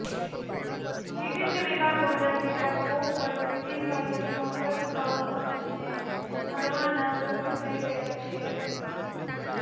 વિવિધ વિભાગોના કેટલાક પો પર સીધી ભરતીનો પ્રસ્તાવ પંચને મળવાના શરૂ થઈ ગયા છે